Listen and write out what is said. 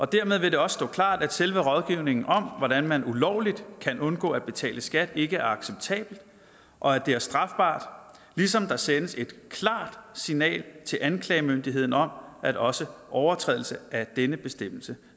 dermed vil det også stå klart at selve rådgivningen om hvordan man ulovligt kan undgå at betale skat ikke er acceptabelt og at det er strafbart ligesom der sendes et klart signal til anklagemyndigheden om at også overtrædelse af denne bestemmelse